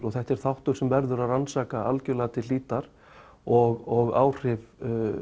þetta er þáttur sem verður að rannsaka algjörlega til hlítar og áhrif